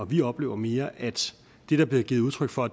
vi oplever mere at det der bliver givet udtryk for